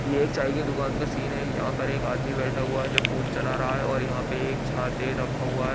ये एक चाय की दुकान का सीन है यहाँ पर एक आदमी बैठा हुआ है जो फोन चला रहा है और यहाँ पे एक छाते रखा हुआ है।